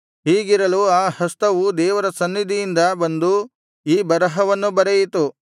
ಹೀಗಿರಲು ಆ ಹಸ್ತವು ದೇವರ ಸನ್ನಿಧಿಯಿಂದ ಬಂದು ಈ ಬರಹವನ್ನು ಬರೆಯಿತು